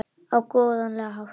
Á sinn góðlega hátt.